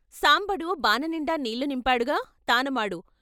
సాంబడు బాననిండా నీళ్ళు నింపాడుగా తానమాడు.